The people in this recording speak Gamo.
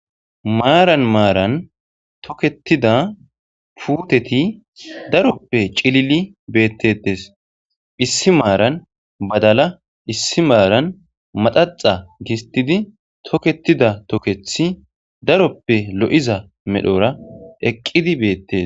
Maaran maaran thokeththida puuthethi daroppe cilili beeththeeththes; issi maaran badala, issi maaran maxaxxa gisththidi thokeththida thokeththi daroppe lo7iza medhoora eqqidi beeththees.